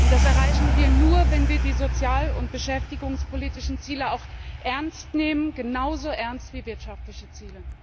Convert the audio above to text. Das erreichen wir nur, wenn wir die sozial und beschäftigungspolitischen Ziele auch ernst nehmen, genauso ernst wie wirtschaftliche Ziele.